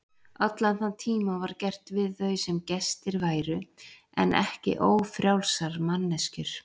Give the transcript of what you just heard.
Allan þann tíma var gert við þau sem gestir væru en ekki ófrjálsar manneskjur.